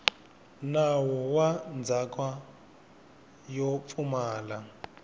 nawu wa ndzhaka yo pfumala